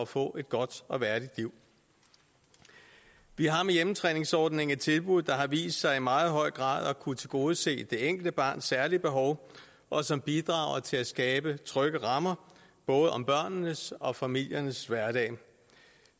få et godt og værdigt liv vi har med hjemmetræningsordningen et tilbud der har vist sig i meget høj grad at kunne tilgodese det enkelte barns særlige behov og som bidrager til at skabe trygge rammer både om børnenes og om familiernes hverdag